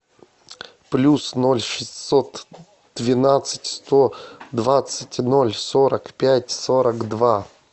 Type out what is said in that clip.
плюс ноль шестьсот двенадцать сто двадцать ноль сорок пять сорок два